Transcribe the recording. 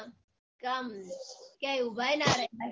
કે આમ ક્યાંય ઉભાય ના રેવાય